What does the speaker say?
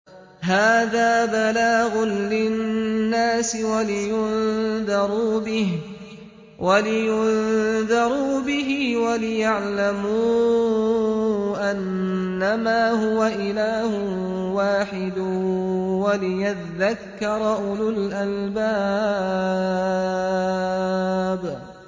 هَٰذَا بَلَاغٌ لِّلنَّاسِ وَلِيُنذَرُوا بِهِ وَلِيَعْلَمُوا أَنَّمَا هُوَ إِلَٰهٌ وَاحِدٌ وَلِيَذَّكَّرَ أُولُو الْأَلْبَابِ